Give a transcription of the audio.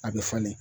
A bɛ falen